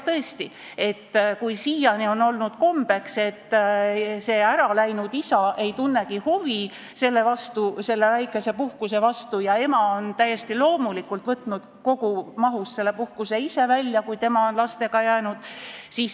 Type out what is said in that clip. Tõesti, siiani on olnud kombeks, et äraläinud isa ei tunnegi huvi selle väikese puhkuse vastu ja ema on täiesti loomulikult võtnud kogumahus selle puhkuse välja, kui tema on laste juurde jäänud.